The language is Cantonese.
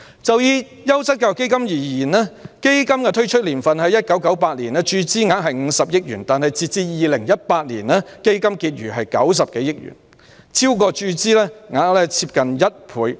就優質教育基金而言，基金的推出年份是1998年，注資額是50億元，但截至2018年，基金結餘為90多億元，超過注資額接近1倍。